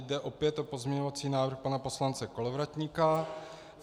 Jde opět o pozměňovací návrh pana poslance Kolovratníka.